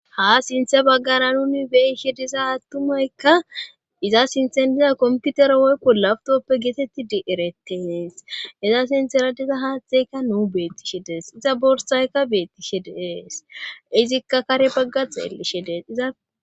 ha sinthe baggara nuni beyshe diza attumaykka iza sintheniza komputera woykko lawtoppe geetetti di ereteees iza sintera diza haaththeykka nuu beettishe dees iza borsayka beettishe dees izikka kare bagga xeellishe dees iza